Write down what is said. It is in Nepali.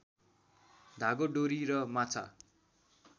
धागो डोरी र माछा